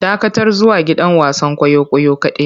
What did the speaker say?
Dakatar zuwa gidan wasan kwaikwayo kadai!